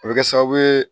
A bɛ kɛ sababu ye